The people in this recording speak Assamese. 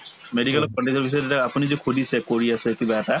medical ত পিছত এটা আপুনি যে সুধিছে কৰি আছে কিবা এটা